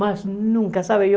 Mas nunca, sabe?